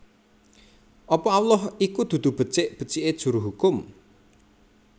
Apa Allah iku dudu becik becike juru hukum